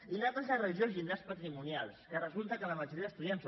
i l’altra és la gestió dels llindars patrimonials que resulta que la majoria d’estudiants